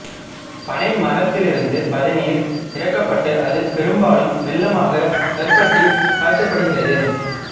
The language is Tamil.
பனை மரத்திலிருந்து பதநீர் இறக்கப்பட்டு அது பெரும்பாலும் வெல்லமாக கருப்பட்டி காய்ச்சப்படுகிறது